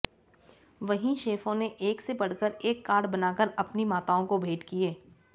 वहीं शेफों ने एक से बढ़कर एक कार्ड बनाकर अपनी माताओं को भेंट किए